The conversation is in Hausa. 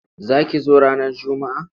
Za ki zo ranar Juma'a.